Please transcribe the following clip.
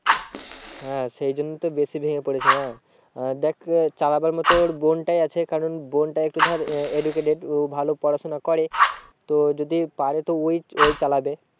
হ্যাঁ সেই জন্যই তো বেশি ভেঙে পড়েছে না। আহ দেখ চালাবার মতো ওর বোনটাই আছে কারণ বোনটা একটু ধর educated ও ভালো পড়াশোনা করে তো যদি পারে তো ওই, ওই চালাবে।